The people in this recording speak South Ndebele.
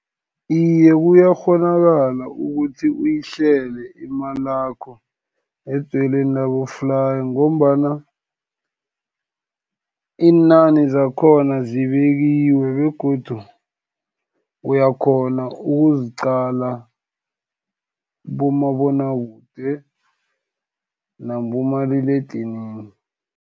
Iye, kuyakghonakala ukuthi uyihlele imalakho edzweleni laboflayi, ngombana iinani zakhona zibekiwe begodu uyakhona ukuziqala kubomabonakude, nakubomaliledinini.